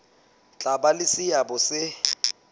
tla ba le seabo se